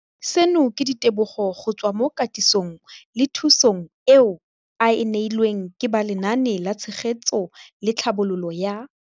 Seno ke ka ditebogo go tswa mo katisong le thu song eo a e neilweng ke ba Lenaane la Tshegetso le Tlhabololo ya